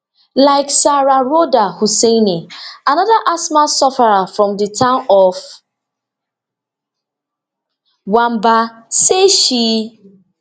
like sarah rhoda husseini anoda asthma sufferer from di town of wamba say she